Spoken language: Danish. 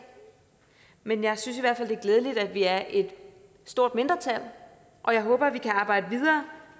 men jeg synes i hvert fald at det er glædeligt at vi er et stort mindretal og jeg håber at vi kan arbejde videre